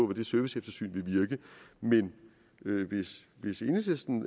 det serviceeftersyn vil bevirke men hvis enhedslisten